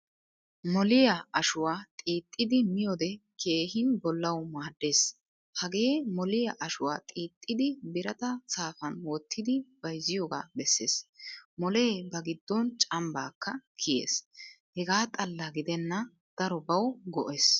Molliyaa ashuwaa xiixidi miyode keehin bollawu maaddees. Hagee molliyaa ashuwaa xiixidi birata saafan wottidi bayziyoga besees. Molle ba giddon cambakka kiyees. Hegaa xalla gidenna darobawu goes.